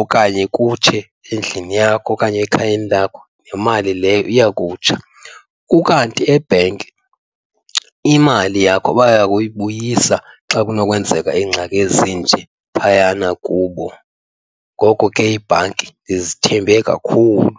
Okanye kutshe endlini yakho okanye ekhayeni lakho nemali leyo iya kutsha, ukanti ebhenki imali yakho baya kuyibuyisa xa kunokwenzeka ingxaki ezinje phayana kubo. Ngoko ke iibhanki ndizithembe kakhulu.